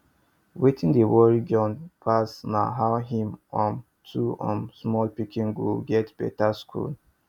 wetin dey worry john pass na how him um two um small pikin go get better school